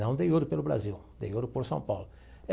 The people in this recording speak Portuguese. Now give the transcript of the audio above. Não dei ouro pelo Brasil, dei ouro por São Paulo.